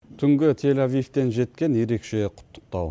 түнгі тель авивтен жеткен ерекше құттықтау